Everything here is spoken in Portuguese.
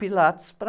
Pilates para...